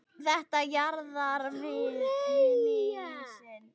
Þetta jaðrar við hnýsni.